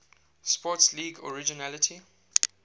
sports league originally